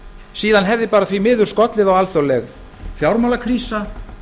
síðan hefði bara því miður skollið á alþjóðleg fjármálakrísa